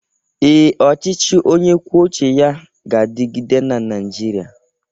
Ee, ọchịchị onye kwuo uche ya ga-adịgide na Naịjirịa.